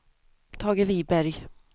Tage Viberg